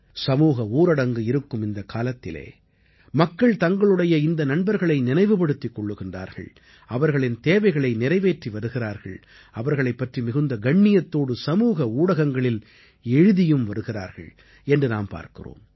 சமூக ஊரடங்கு இருக்கும் இந்த காலத்திலே மக்கள் தங்களுடைய இந்த நண்பர்களை நினைவுபடுத்திக் கொள்கிறார்கள் அவர்களின் தேவைகளை நிறைவேற்றி வருகிறார்கள் அவர்களைப் பற்றி மிகுந்த கண்ணியத்தோடு சமூக ஊடகங்களில் எழுதியும் வருகிறார்கள் என்று நாம் பார்க்கிறோம்